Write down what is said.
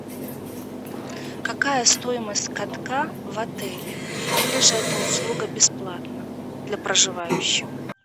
какая стоимость катка в отеле или же эта услуга бесплатна для проживающих